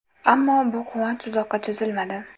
Ammo bu quvonch uzoqqa cho‘zilmadi.